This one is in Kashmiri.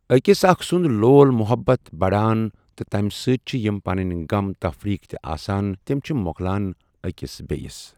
أکِس اَکھ سُںٛد لول محبت بَڑان تہٕ تَمہِ سۭتۍ چھِ یِم پَنٕنۍ غم تَفریٖک تہِ آسَان تِم چھِ مۄکلان أکِس بیٚیِس۔